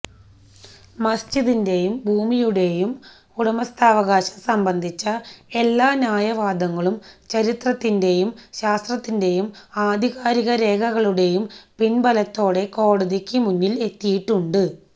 മസ്ജിദിന്റെയും ഭൂമിയുടെയും ഉടമസ്ഥാവകാശം സംബന്ധിച്ച എല്ലാ ന്യായവാദങ്ങളും ചരിത്രത്തിന്റെയും ശാസ്ത്രത്തിന്റെയും ആധികാരിക രേഖകളുടെയും പിന്ബലത്തോടെ കോടതിക്ക് മുന്നിൽ എത്തിയിട്ടുണ്ട്